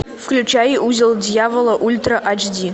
включай узел дьявола ультра ач ди